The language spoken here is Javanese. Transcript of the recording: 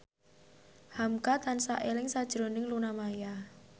hamka tansah eling sakjroning Luna Maya